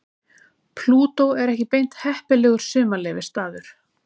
Plútó er ekki beint heppilegur sumarleyfisstaður.